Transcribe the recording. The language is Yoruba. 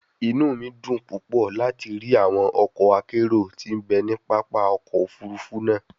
Inu mi dun pupọ lati ri awọn ọkọ akero ti n be ni papa ọkọ ofurufu naa